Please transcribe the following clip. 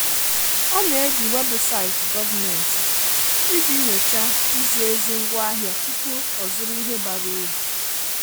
Ọ na-eji webụsaịtị gọọmentị iji nyochaa izi ezi ngwaahịa tupu ọzụrụ ihe bara uru.